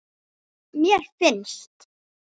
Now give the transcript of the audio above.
mér finnst